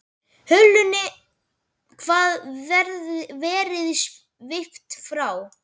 Hulunni hafði verið svipt frá.